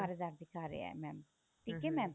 ਹਜ਼ਾਰ ਦਿਖਾ ਰਿਹਾ mam ਠੀਕ ਏ mam